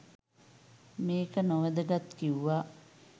මේක නොවැදගත් කිව්වා